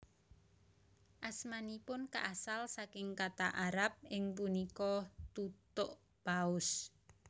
Asmanipun kaasal saking kata Arab ing punika Tutuk paus